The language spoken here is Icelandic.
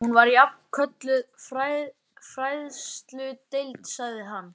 Hún var jafnan kölluð fræðsludeild sagði hann.